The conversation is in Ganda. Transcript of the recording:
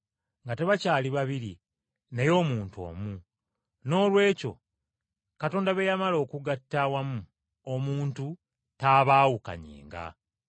nga tebakyali babiri naye omuntu omu.’ Noolwekyo Katonda be yagatta awamu, omuntu tabaawukanyanga.”